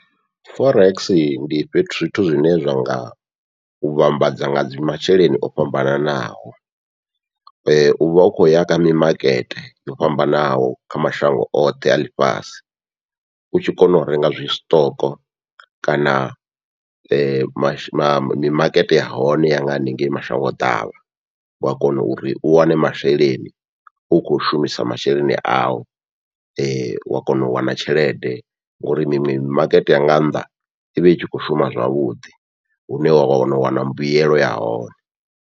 Forex ndi fhethu zwithu zwine zwa nga u vhambadza nga dzi masheleni o fhambananaho, uvha u khou ya kha mimakete yo fhambanaho kha mashango oṱhe a ḽifhasi u tshi kona u renga zwi stock kana mashe mimakete yahone ya nga haningei mashango ḓavha. Wa kona uri u wane masheleni u khou u shumisa masheleni au, wa kona u wana tshelede ngauri mimakete ya nga nnḓa ivha i tshi khou shuma zwavhuḓi hune wa kona u wana mbuyelo ya hone.